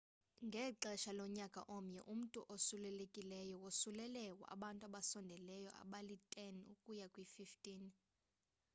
ngexesha lonyaka omnye umntu osulelekileyo wosulela abantu abasondeleyo abali-10 ukuya kwi-15